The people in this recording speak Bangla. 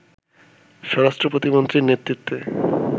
স্বরাষ্ট্র প্রতিমন্ত্রীর নেতৃত্বে